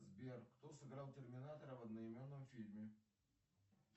сбер кто сыграл терминатора в одноименном фильме